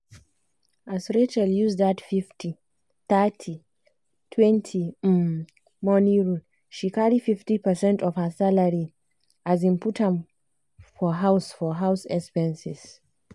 as rachel use that 50/30/20 um money rule she carry fifty percent of her salary um put um for house for house expenses.